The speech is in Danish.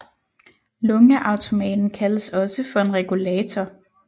Lungeautomaten kaldes også for en regulator